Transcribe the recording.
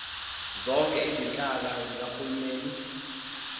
zonke izinhlaka zikahulumeni